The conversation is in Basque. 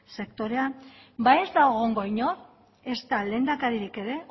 sektorean ez da egongo inor ezta lehendakaririk ere